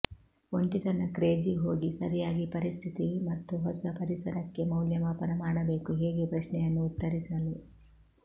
ಒಂಟಿತನ ಕ್ರೇಜಿ ಹೋಗಿ ಸರಿಯಾಗಿ ಪರಿಸ್ಥಿತಿ ಮತ್ತು ಹೊಸ ಪರಿಸರಕ್ಕೆ ಮೌಲ್ಯಮಾಪನ ಮಾಡಬೇಕು ಹೇಗೆ ಪ್ರಶ್ನೆಯನ್ನು ಉತ್ತರಿಸಲು